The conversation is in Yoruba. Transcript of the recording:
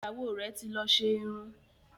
Ìyàwó rẹ́ ti lọ ṣe irun.